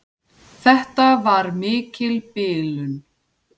Þetta var mikil bilun.